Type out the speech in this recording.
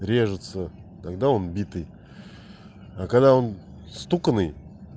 режется тогда он битый а когда он стуканный